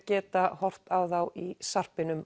geta horft á þá í